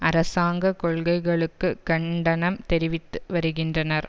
அரசாங்க கொள்கைளுக்கு கண்டனம் தெரிவித்து வருகின்றனர்